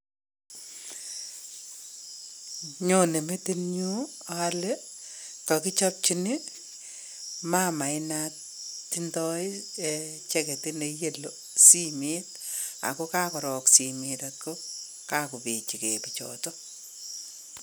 Nyonei metitnyu ale kakichopchin mama inatindoi cheketit ne yellow simet, ako kakorook simet ako kakopechigei.